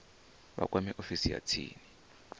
vha kwame ofisi ya tsini